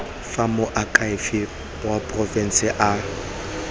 fa moakhaefe wa porofense a